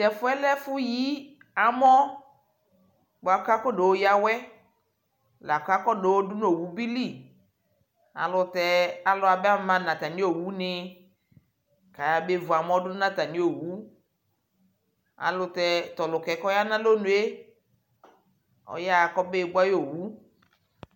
Tɛfu yɛ lɛ ɛfuyi amɔ bua kabayɔya awɛ la kayɔbadʋ nʋ owu bi lι Ayʋɛlʋtɛ alʋ abama nʋ atami owu nιkʋ ayabevu amɔ dʋ nʋ atami owu ayʋɛlʋtɛ tʋɔlʋka yɛ kʋ ɔya nʋ alonue ayaɣa kʋ abekʋ ayʋ owu